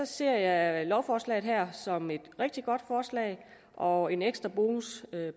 ser jeg lovforslaget her som et rigtig godt forslag og en ekstra bonus